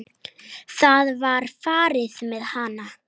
Það var farið með hana.